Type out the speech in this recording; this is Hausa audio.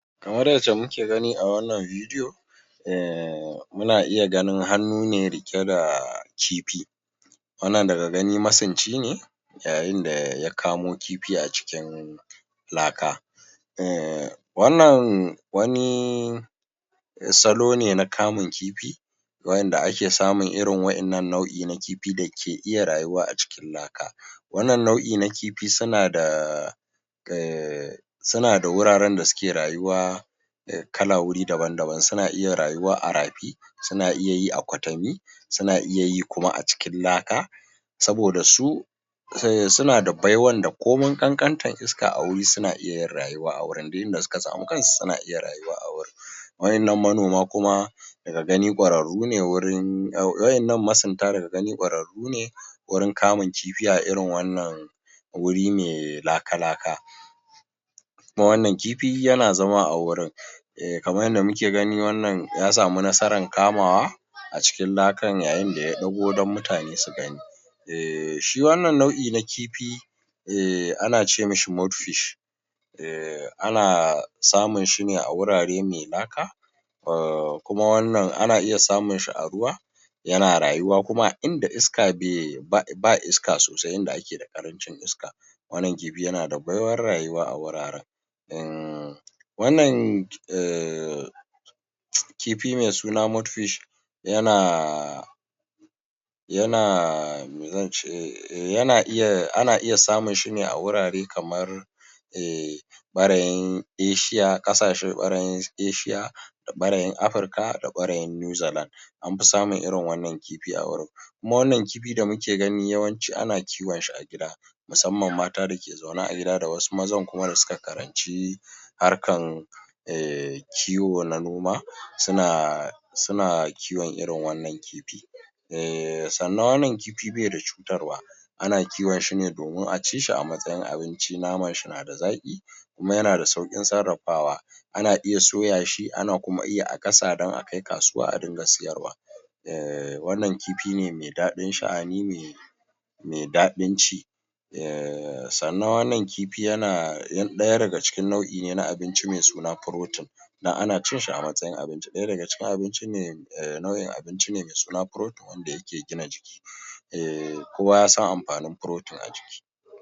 Kaman misali, ai kowa ya ji lokacin da yake cewa shugaban ƙasa a dawo mana da tallafin mai kowa ya ji wannan saboda talaka ne ke mora, yake amfana tallafin man nan kai tsaye don haka abun kunya ne a ce ya fito ya rinƙa irin abun nan. Ai mu ba mu siyasar mu da adawa duk wanda ya kawo cigaba in ya zo da magana ta gaskiya, muna yaba masa a dai-dai wannan lokacin nake faɗa maka cewa ni, a matsayi na na ɗan cewa an ba ni mara na jam’iyyan apc. Idan ka ɗaga ido ka duba senator Shehu Buba, senator mu na Bauchi ta Kudu, abun da Senator Buba Shehu yake yi a jahar Bauchi ba ma maganan yankin Bauchi ta Kudu da Arewa ba, na tabbata da wanda irin sa gwamna yake yi da ba haka jihar Bauchi take ba. Tallafin abun da ya shafi makarantu, tallafin abun da ya shafi a ba da wasu kuɗaɗe na kasuwanci babu abun da Shehu Buba ya bari, Shehu Buba mutum ne wanda yake, ina da tabbacin cewa da a ce gwamna ya yi koyi da ire-iren wannan abun da Shehu Buba yake yi da al’umma ba su cikin ƙuncin rayuwa yanda ake ciki a yanzun. Amma shi da ya tashi ba abun da yake yi sai dai koran mutane, ma’ana ma inda suke sana’oinsu ‘yan kasuwancinsu ɗan containansu duk aka kore su, shi ne suka shiga wani hali suka rasa gaba suka rasa baya, iyakansa kenan senatan nan kaman mutane na ganin ko yana da hararar kudi ba na gwamna shi ya sa yake musu abubuwa, ai senator Shehu Buba shi yake hararar kujeran gwamna ba al’ummar jihar Bauchi ne suke hararo masa kujerar gwaman kuma ina tabbatar maka da cewa In sha Allahu Senator Shehu Buba sai in ce maka ko ya ƙi ko ya so biiznillahi ta’ala mu za mu je mu jawo shi da ƙarfi ya yi hakuri ya tausaya ma al’umma ya zo ya karɓa wannnan kujera in Allah ya kai mu shekara ta dubu biyu da ishirin da bakwai cikin yardan Allah kafun ƙarfe goma biznillahi ta’ala an sanar da Shehu Buba ya ci zaɓe. In Allah ya yarda kuma muna tsammanin In Sha Allahu jam’iyyar apc za ta ba shi ticket cikin sauri, biznillahi ta’ala, Salisu Isah kenan da aka fi sani da sautissunnah wani ɗan jam’iyyar apc a jihar Bauchi.